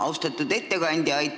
Austatud ettekandja!